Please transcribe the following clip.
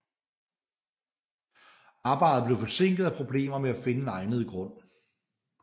Arbejdet blev forsinket af problemer med at finde en egnet grund